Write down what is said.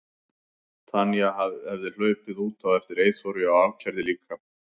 Tanya hefði hlaupið út á eftir Eyþóri og ákærði líka.